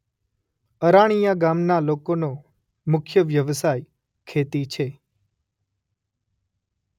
અરાણીયા ગામના લોકોનો મુખ્ય વ્યવસાય ખેતી છે.